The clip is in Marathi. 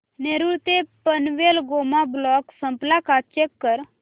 नेरूळ ते पनवेल मेगा ब्लॉक संपला का चेक कर